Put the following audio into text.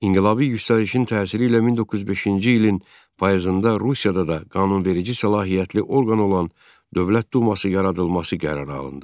İnqilabi yüksəlişin təsiri ilə 1905-ci ilin payızında Rusiyada da qanunverici səlahiyyətli orqan olan Dövlət Duması yaradılması qərarı alındı.